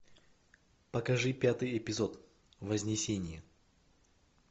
покажи пятый эпизод вознесение